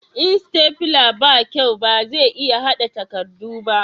in sitafila ba kyau ba za a iya hada takardu ba